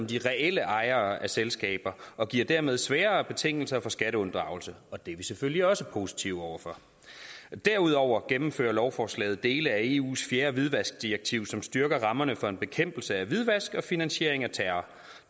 de reelle ejere af selskaber og giver dermed sværere betingelser for skatteunddragelse og det er vi selvfølgelig også positive over for derudover gennemfører lovforslaget dele af eus fjerde hvidvaskdirektiv som styrker rammerne for en bekæmpelse af hvidvask og finansiering af terror